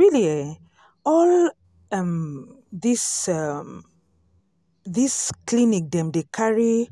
really eh all um this um this clinic dem dey carry